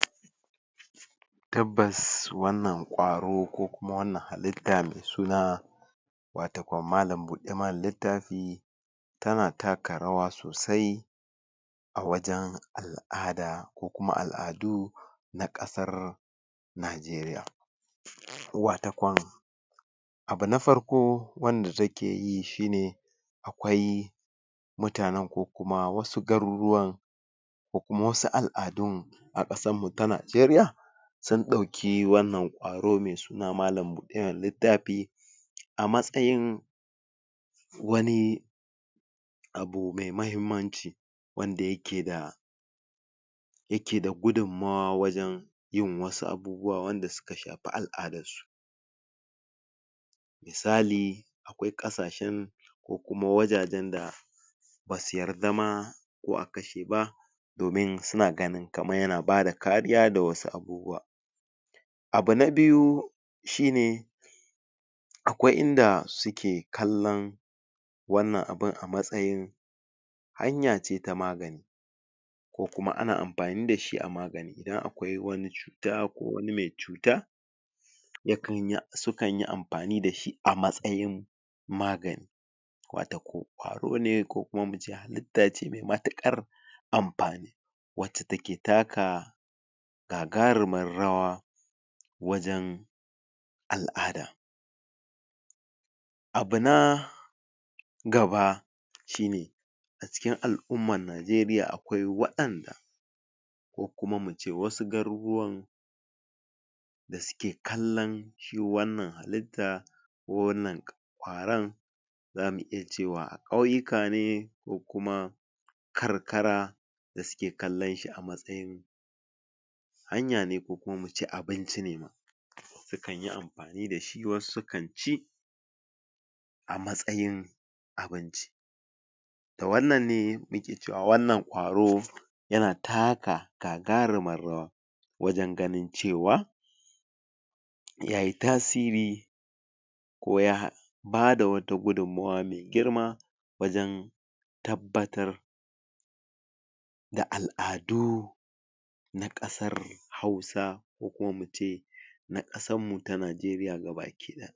Tabbas wannan ƙwaro ko kuma wannan halitta me suna watakwam malam buɗe mana littafi tana taka rawa sosai a wajen al'ada ko kuma al'adu na ƙasar Najeriya wata kwan abu na farko wanda take yi shi ne akwai mutanen ko kuma wasu garuruwan ko kuma wasu al'adun a ƙasanmu ta Najeriya sun ɗauki wannan ƙwaro me suna malam buɗe mana littafi a matsayin wani abu me mahimmanci wanda yake da yake da gudunmawa wajen yin wasu abubuwa wanda suka shafi al'adarsu misali akwai ƙasashen ko kuma wajajen da ba su yarda ma ko a kashe ba domin su na ganin kaman yana bada kariya da wasu abubuwa abu na biyu shi ne akwai inda suke kallon wannan abun a matsayin hanya ce ta magani ko kuma ana amfani da shi a magani idan akwai wani cuta ko wani me cuta ya kan yi su kan yi amfani da shi a matsayin magani wata ko ƙwaro ne ko kuma mu ce halitta ce me matukar amfani wace take taka gagarumar rawa wajen al'ada abu na gaba shi ne a cikin al'umman Najeriya waɗanda ko kuma mu ce wasu garuruwan da suke kallon shi wannan halitta ko wannan ƙwaron za mu iya cewa a ƙauyuka ne ko kuma karkara da suke kallon shi a matsayin hanya ne ko kuma mu ce abinci ne su kan yi amfani da shi wasu su kan ci a matsayin abinci da wannan ne muke cewa wannan ƙwaro yana taka gagarumar rawa wajen ganin cewa ya yi tasiri ko ya ba da wata gudunmawa me girma wajen tabbatar da al'adu na ƙasar Hausa ko kuma mu ce